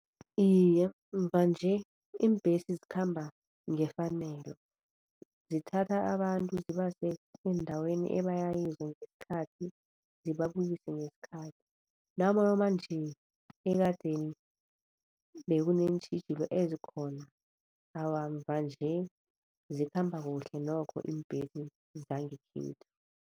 Iye, mvanje iimbhesi zikhamba ngefanelo, zithatha abantu zibase eendaweni ebaya kizo ngesikhathi zibabuyise ngesikhathi. Nanomanje ekadeni bekuneentjhijilo ezikhona, awa mvanje zikhamba kuhle nokho iimbhesi zangekhethu.